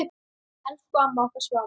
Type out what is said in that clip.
Elsku amma okkar Svava.